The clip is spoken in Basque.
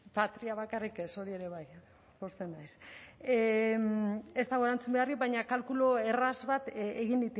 patria bakarrik ez hori ere bai pozten naiz ez dago erantzun beharrik baina kalkulu erraz bat egin